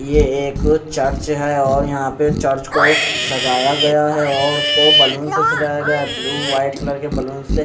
ये एक चर्च है और यहाँ पे चर्च को सजाया गया है और उसको बैलून्स से सजाया गया है ब्लू व्हाइट कलर के बैलून्स है।